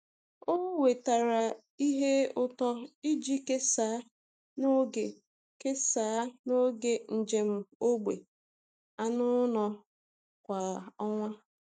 Ọ wetara ihe ụtọ iji kesaa n’oge kesaa n’oge njem ógbè anụ ụlọ kwa ọnwa.